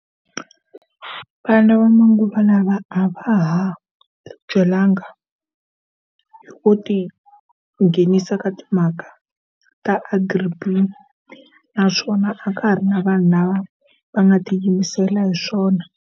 Vana va manguva lawa a va ha tibyelanga hi ku ti nghenisa ka timhaka ta Agri-B_E_E. Naswona a ka ha ri na vanhu lava va nga tiyimisela hi swona.